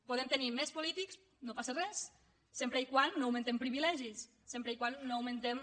podem tenir més polítics no passa res sempre que no augmentem privilegis sempre que no augmentem